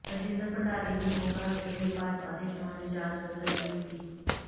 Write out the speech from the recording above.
ਰਾਜਿੰਦਰ ਭੰਡਾਰੀ ਦੀ ਮੋਗਾ ਹਲਕੇ ਲਈ ਭਾਜਪਾ ਦੇ ਚੋਣ ਇੰਚਾਰਜ ਵਜੋਂ ਨਿਯੁਕਤੀ